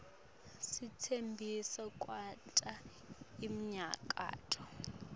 sitsembisa kwenta iminyakato